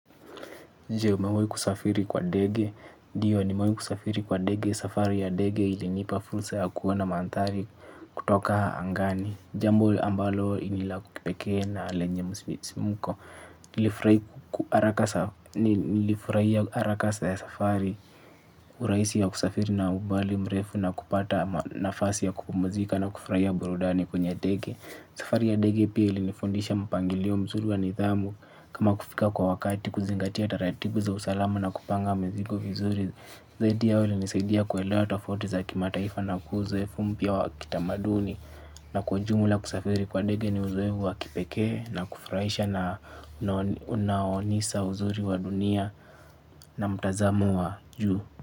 Umewai kusafiri kwa dege, dio nimewai kusafiri kwa dege, safari ya dege ilinipa fulsa ya kuona mandhari kutoka haangani. Jambo ambalo nila kukipeke na lenye musimiko. Nilifurai arakasa ya safari uraisi ya kusafiri na ubali mrefu na kupata nafasi ya kupumzika na kufurai burudani kwenye dege safari ya dege pia ilinifondisha mpangilio mzuri wa nithamu kama kufika kwa wakati kuzingatia taratibu za usalama na kupanga mezigo vizuri. Zaidi yao inisaidia kuelea tafaoti za kimataifa na kuzefu mpia wa kitamaduni na kwa jmula kusafiri kwa dege ni uzuehu wa kipekee na kufraisha na unaonisa uzuri wa dunia na mtazamo wa juu.